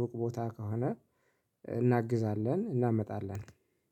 ሩቅ ቦታ ከሆነ እናግዛለን እናመጣለን